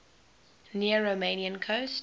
near romanian coast